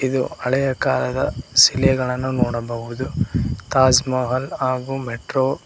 ಇದು ಹಳೆಯ ಕಾಲದ ಶಿಲೆಗಳನ್ನು ನೋಡಬಹುದು ತಾಜ್ ಮಹಲ್ ಹಾಗೂ ಮೆಟ್ರೋ --